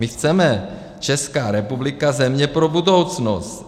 My chceme - Česká republika země pro budoucnost.